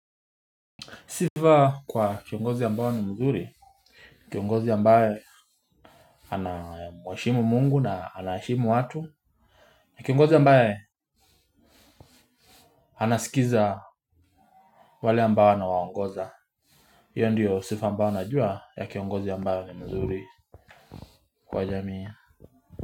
Sifa kwa kiongozi ambaye ni mzuri, kiongozi ambaye anamuheshimu mungu na anaheshimu watu. Kiongozi ambaye anasikiza wale ambao anawaongoza. Hiyo ndiyo sifa ambayo najua ya kiongozi ambaye ni mzuri kwa jamii.